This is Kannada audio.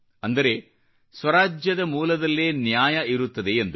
ಅಂದರೆ ಸ್ವರಾಜ್ಯದ ಮೂಲದಲ್ಲೇ ನ್ಯಾಯ ಇರುತ್ತದೆ ಎಂದು